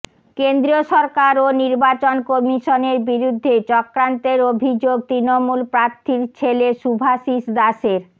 কেন্দ্রীয় সরকার ও নির্বাচন কমিশনের বিরুদ্ধে চক্রান্তের অভিযোগ তৃণমূল প্রার্থীর ছেলে শুভাশিস দাসের